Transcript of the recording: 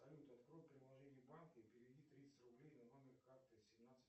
салют открой приложение банка и переведи тридцать рублей на номер карты семнадцать